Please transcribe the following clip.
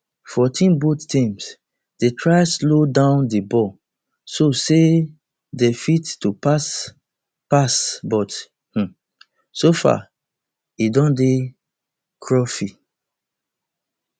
fourteenboth teams dey try to slow down di ball so say dey fit to pass pass but um so far e don dey scruffy